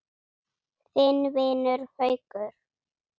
Þinn vinur, Haukur.